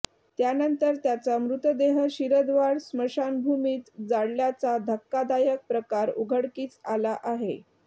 त्यानंतर त्याचा मृतदेह शिरदवाड स्मशानभूमीत जाळल्याचा धक्कादायक प्रकार उघडकीस आला आहे